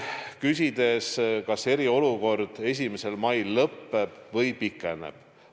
Kas eriolukord 1. mail lõppeb või pikeneb?